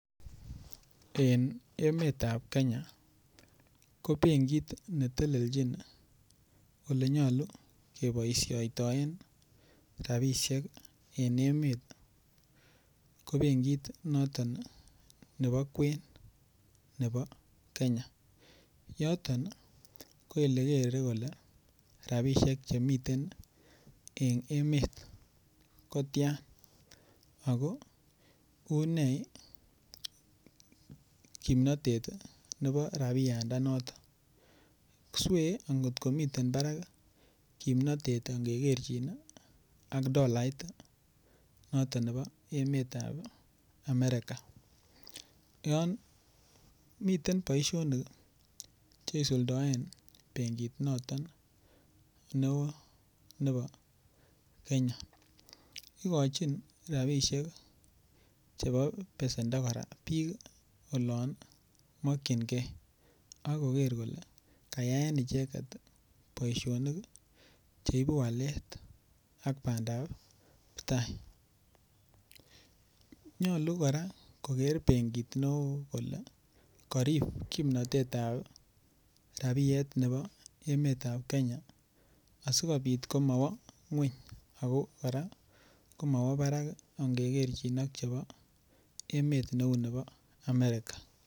En emetab Kenya ko benkit ne telelchin ii olenyalu keboisioitoen ii rabiisiek ii en emet ko benkit noton ii nebo kwen nebo Kenya, yoton ii ko ele kere kole rabiisiek chemiten ii en emet ko tian, ako une ii kimnotet ii nebo rabiandanoton, swee ang ngot komiten barak ii kimnotet ii angekerchin ii ak dolait ii noton nebo emetab Amerika, yon miten boisionik ii che isuldoen benkit noton ne oo nebo Kenya, ikochin rabiisiek ii chebo besendo kora piik ii olon mokchinkei, ak koker kole kayaen icheket ii boisionik ii cheibu walet ak bandaptai, nyalu kora koker benkit ne oo kole karip kimnotetab rabiet nebo emetab Kenya asikobit komowo nguny ako kora komawo barak ii angekerchin ak chebo emet neu nebo Amerika.